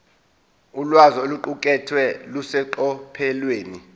ulwazi oluqukethwe luseqophelweni